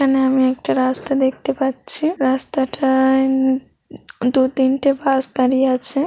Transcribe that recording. এখানে একটা রাস্তা দেখতে পাচ্ছে রাস্তাটাই দু তিনটে বাস দাঁড়িয়ে আছে।